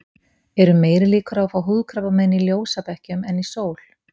Eru meiri líkur á að fá húðkrabbamein í ljósabekkjum en í sól?